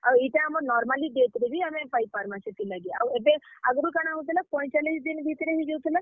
ଆଉ ଇଟା ଆମର୍ normally death ରେ ବି ପାଇ ପାର୍ ମା ସେଥିର୍ ଲାଗି, ଆଉ ଏବେ ଆଗ୍ ରୁ କାଣା ହାଉଥିଲା, ପଏଁଚାଲିଶ୍ ଦିନ୍ ଭିତ୍ ରେ ହେଇ ଯଉଥିଲା।